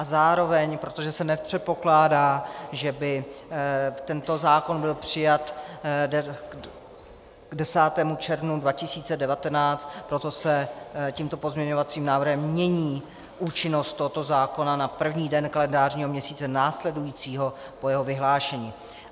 A zároveň, protože se nepředpokládá, že by tento zákon byl přijat k 10. červnu 2019, proto se tímto pozměňovacím návrhem mění účinnost tohoto zákona na první den kalendářního měsíce následujícího po jeho vyhlášení.